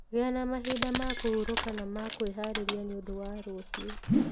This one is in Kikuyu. Gĩa na mahinda ma kũhurũka na ma kwĩharĩria nĩ ũndũ wa rũciũ.